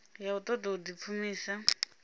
ya u ṱoḓa u ḓipfumisa